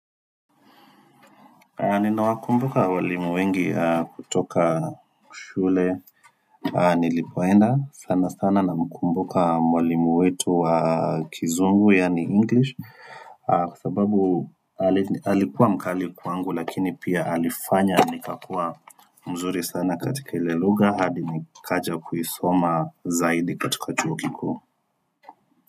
Ninawakumbuka walimu wengi kutoka shule nilipoenda sana sana na mkumbuka mwalimu wetu wa kizungu yani English Kwa sababu Ali alikua mkali kwangu lakini pia alifanya nikakua mzuri sana katika ilelugha hadi nikaja kuisoma zaidi katika chuo kikuu.